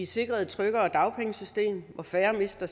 sikret et tryggere dagpengesystem hvor færre mister